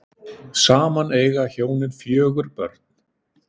Saman eiga hjónin fjögur börn.